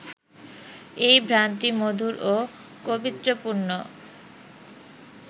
এই ভ্রান্তি মধুর ও কবিত্ব পূর্ণ